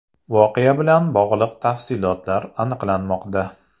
Voqea bilan bog‘liq tafsilotlar aniqlanmoqda.